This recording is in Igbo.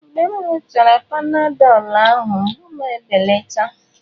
Mgbe m ṅụọchara Panadọlụ, ahụ mgbu m ebelata.